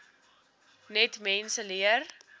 net mense leer